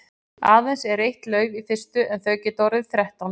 Aðeins er eitt lauf í fyrstu en þau geta orðið þrettán.